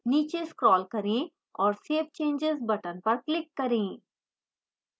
नीचे scroll करें और save changes button पर click करें